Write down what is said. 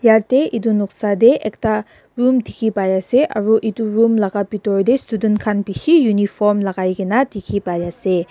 yatae edu noksa tae ekta room dikhipaiase aro edu room laka bitor tae student khan bishi uniform lakaikaena dikhipaiase.